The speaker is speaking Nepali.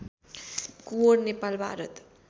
कुँवर नेपाल भारत